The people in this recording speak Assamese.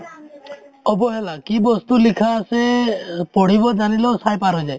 অবহেলা কি বস্তু লিখা আছে এ পঢ়িব জানিলেও চাই পাৰ হৈ যায়